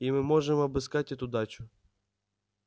и мы можем обыскать эту дачу